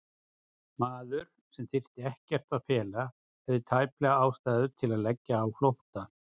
Maður, sem þyrfti ekkert að fela, hafði tæplega ástæðu til að leggja á flótta?